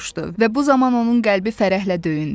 Və bu zaman onun qəlbi fərəhlə döyündü.